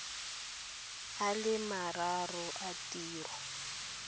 a le mararo a tiro